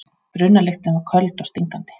Brunalyktin var köld og stingandi.